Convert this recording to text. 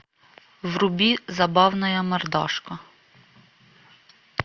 вруби забавная мордашка